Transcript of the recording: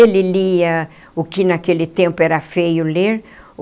Ele lia o que naquele tempo era feio ler.